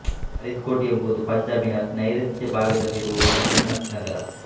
ಫರೀದ್ಕೋಟ್ ಎಂಬುದು ಪಂಜಾಬಿನ ನೈಋತ್ಯ ಭಾಗದಲ್ಲಿರುವ ಒಂದು ಸಣ್ಣ ನಗರ